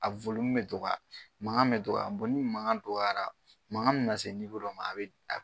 A bɛ fɔ mun bɛ to ka makan bɛ dɔgɔya ni makan dɔgɔyara makan bɛna se dɔ ma a bɛ